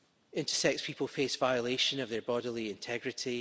Intersex people face violation of their bodily integrity.